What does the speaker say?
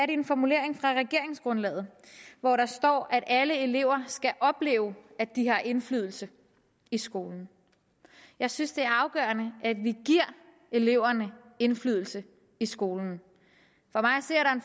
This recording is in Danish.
en formulering fra regeringsgrundlaget hvor der står at alle elever skal opleve at de har indflydelse i skolen jeg synes det er afgørende at vi giver eleverne indflydelse i skolen